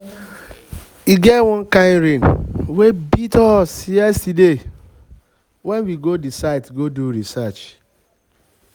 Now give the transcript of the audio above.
e get wan kin rain wey beat us yesterday wen we go the site go do research